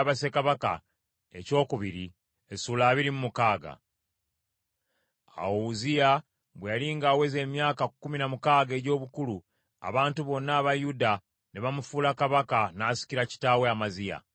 Awo Uzziya bwe yali ng’aweza emyaka kkumi na mukaaga egy’obukulu, abantu bonna aba Yuda, ne bamufuula kabaka n’asikira kitaawe Amaziya.